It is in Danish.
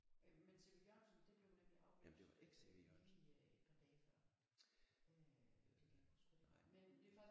Øh men C V Jørgensen det blev nemlig aflyst øh lige et par dage før øh jeg kan ikke engang huske hvad det var